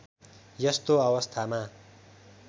यस्तो अवस्थामा